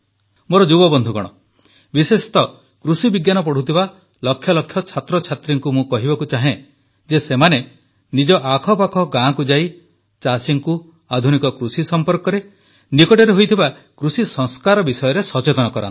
ମୋର ଯୁବବନ୍ଧୁଗଣ ବିଶେଷତଃ କୃଷିବିଜ୍ଞାନ ପଢ଼ୁଥିବା ଲକ୍ଷଲକ୍ଷ ଛାତ୍ରଛାତ୍ରୀଙ୍କୁ ମୁଁ କହିବାକୁ ଚାହେଁ ଯେ ସେମାନେ ନିଜ ଆଖପାଖ ଗାଁକୁ ଯାଇ ଚାଷୀଙ୍କୁ ଆଧୁନିକ କୃଷି ସମ୍ପର୍କରେ ନିକଟରେ ହୋଇଥିବା କୃଷି ସଂସ୍କାର ବିଷୟରେ ସଚେତନ କରାନ୍ତୁ